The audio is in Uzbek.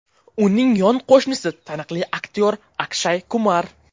Uning yon qo‘shnisi taniqli aktyor Akshay Kumar.